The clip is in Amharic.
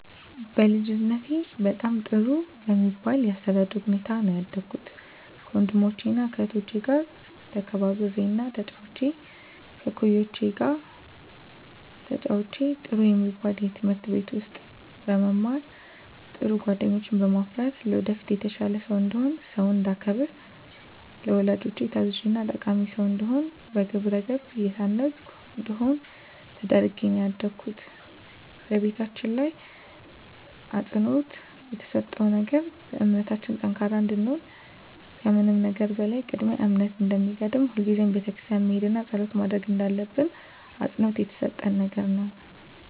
በልጅነቴ በጣም ጥሩ በሚባል የአስተዳደግ ሁኔታ ነው ያደኩት ከወንድሞቸና ከእህቶቸ ጋር ተከባብሬና ተጫውቼ ከእኩዮቼ ጋር ተጫውቼ ጥሩ የሚባል ትምህርት ቤት ውስጥ በመማር ጥሩ ጓደኞችን በማፍራት ለወደፊት የተሻለ ሰው እንድሆን ሰውን እንዳከብር ለወላጆቼ ታዛዥና ጠቃሚ ሰው እንድሆን በግብረገብ የታነፅኩ እንድሆን ተደርጌ ነው ያደኩት በቤታችን ላይ አፅንዖት የተሰጠው ነገር በእምነታችን ጠንካራ እንድንሆን ከምንም ነገር በላይ ቅድሚያ እምነት እንደሚቀድም ሁልጊዜም ቤተክርስቲያን መሄድና ፀሎት ማድረግ እንዳለብን አፅንዖት የተሰጠን ነገር ነው።